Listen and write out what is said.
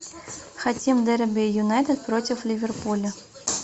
хотим дерби юнайтед против ливерпуля